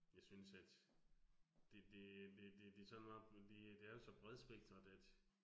Jeg synes, at det det det det det sådan meget det det er jo så bredspektret at